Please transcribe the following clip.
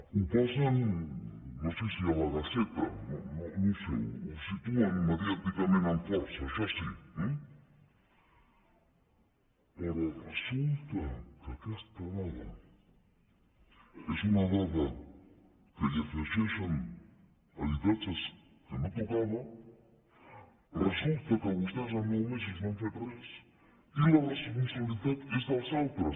ho posen no sé si a la gaceta no ho sé ho situen mediàticament amb força això sí eh però resulta que aquesta dada és una dada que hi afegeixen habitatges que no tocava resulta que vostès en nou mesos vostès no han fet res i la responsabilitat és dels altres